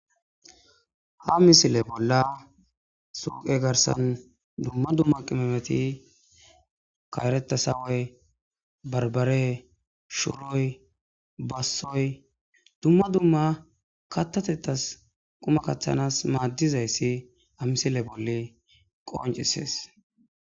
ha misile bolla suqe garsan dumma dumma qimemeti kaeretasawoy barbare shuroy bassoy dumma dumma kattatettas quma kaththanas maaddizayssi amisile bolli qoncisees